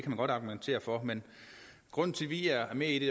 man godt argumentere for men grunden til at vi er med i det